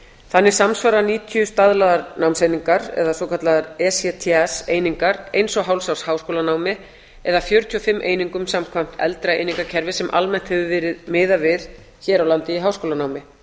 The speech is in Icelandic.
þannig samsvara níutíu staðlaðar námseiningar eða svokallaðar ects einingar eins og hálfs árs háskólanámi eða fjörutíu og fimm einingum samkvæmt eldra einingakerfi sem almennt hefur verið miðað við hér á landi í háskólanámi